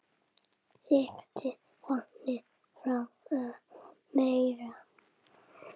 Sigtið vatnið frá og merjið.